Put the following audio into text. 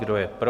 Kdo je pro?